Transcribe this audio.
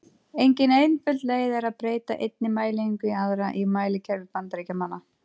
Engin einföld leið er að breyta einni mælieiningu í aðra í mælikerfi Bandaríkjamanna.